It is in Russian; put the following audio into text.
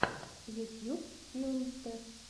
ютьюб филмстер